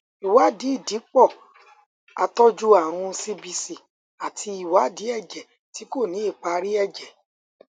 ìwádìí ìdìpò àtọjú àrùn cbc àti ìwádìí èjè tí kò ní ìparí èjè